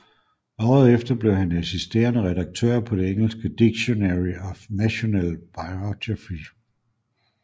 Året efter blev han assisterende redaktør på det engelske Dictionary of National Biography